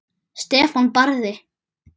Stefán Barði.